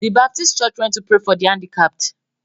The baptist church went to pray for the handicapped.